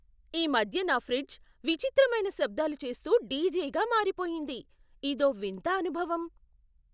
ఈ మధ్య నా ఫ్రిడ్జ్ విచిత్రమైన శబ్దాలు చేస్తూ డీజేగా మారిపోయింది. ఇదో వింత అనుభవం!